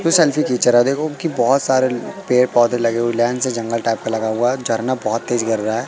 Selfie खींच रहा है देखो कि बहुत सारे पेड़ पौधे लगे हुए लैन से जंगल टाइप का लगा हुआ है झरना बहुत तेज गिर रहा है।